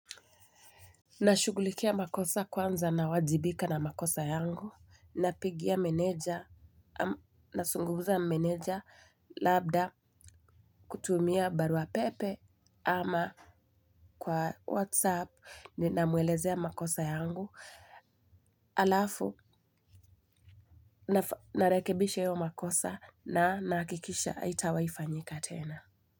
Nashughulikia makosa kwanza nawajibika na makosa yangu, napigia meneja, nazunguza na meneja labda kutumia baruapepe ama kwa whatsapp ninamwelezea makosa yangu, alafu narekebisha hiyo makosa na nahakikisha haitawaifanyika tena.